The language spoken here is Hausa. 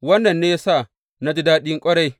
Wannan ne ya sa na ji daɗi ƙwarai.